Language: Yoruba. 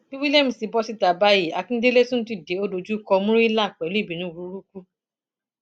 bí williams ti bọ síta báyìí akindélé tún dìde ó dojúkọ murila pẹlú ìbínú burúkú